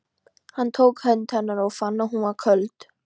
Hann tók hönd hennar og fann að hún var köld.